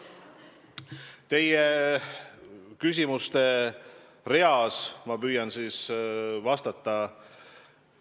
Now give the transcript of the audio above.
Püüan teie küsimuste reale vastata.